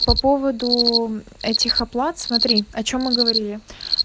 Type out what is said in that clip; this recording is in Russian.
по поводу этих оплат смотри о чем мы говорили